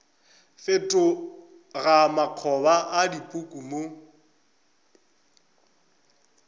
fetoga makgoba a dipuku mo